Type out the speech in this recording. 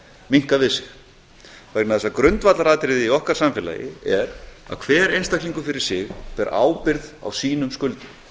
minnkað við sig vegna þess að grundvallaratriði í okkar samfélagi er að hver einstaklingur fyrir sig ber ábyrgð á sínum skuldum